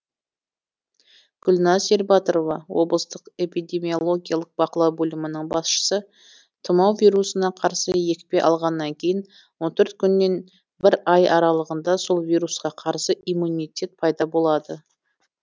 гүлназ ербатырова облыстық эпидемиологиялық бақылау бөлімінің басшысы тұмау вирусына қарсы екпе алғаннан кейін он төрт күннен бір ай аралығында сол вирусқа қарсы иммунитет пайда болады